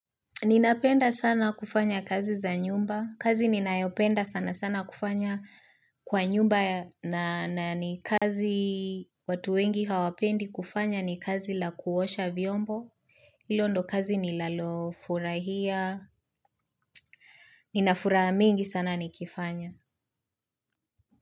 Ninapenda sana kufanya kazi za nyumba. Kazi ninayoipenda sana sana kufanya kwa nyumba na ni kazi watu wengi hawapendi kufanya ni kazi la kuosha vyombo. Hilo ndo kazi ninalofurahia. Ninafuraha mingi sana nikifanya.